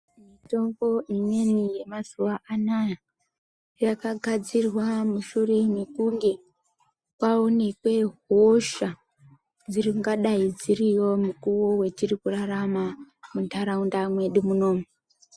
Mitombo imweni yemazuva anaya yakagadzirwa mushure mekunge kwaonekwe hosha dzingadai dziriyo mukuwo wetiri kurarama mundaraunda mwedu munomu.